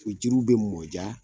O jiriw bɛ mɔ diya.